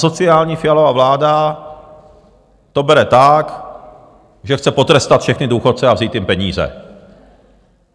Asociální Fialova vláda to bere tak, že chce potrestat všechny důchodce a vzít jim peníze.